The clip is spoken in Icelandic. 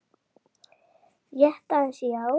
Rétt aðeins, já.